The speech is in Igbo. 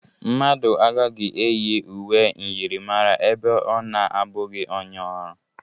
Mmadụ agaghị eyi uwe myịrịmara ebe ọ na-abụghị onye ọrụ.